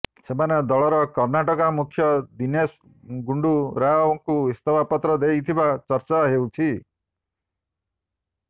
ସେମାନେ ଦଳର କର୍ଣ୍ଣାଟକା ମୁଖ୍ୟ ଦିନେଶ ଗୁଣ୍ଡୁ ରାଓଙ୍କୁ ଇସ୍ତଫା ପତ୍ର ଦେଇଥିବା ଚର୍ଚ୍ଚା ହେଉଛି